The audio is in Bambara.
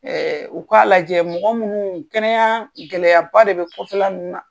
u k'a lajɛ mɔgɔ minnu kɛnɛya gɛlɛyaba de bɛ kƆfƐ minnu na